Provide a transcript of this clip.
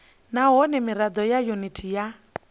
nahone mirado ya yuniti ya